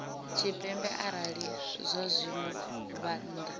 tshipembe arali zwazwino vha nnḓa